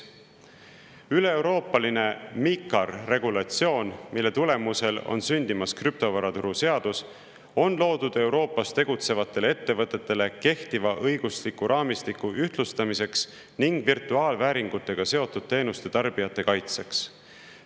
Üleeuroopaline MiCAR regulatsioon, mille tulemusel on sündimas krüptovaraturu seadus, on loodud Euroopas tegutsevatele ettevõtetele kehtiva õigusliku raamistiku ühtlustamiseks ning virtuaalvääringutega seotud teenuste tarbijate kaitseks.